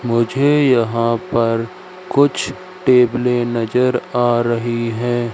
मुझे यहां पर कुछ टेबले नजर आ रही है।